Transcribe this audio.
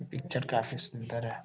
Picture काफी सूंदर है।